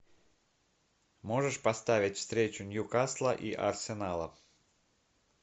можешь поставить встречу ньюкасла и арсенала